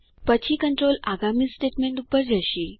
પછી કન્ટ્રોલ આગામી સ્ટેટમેન્ટ ઉપર જશે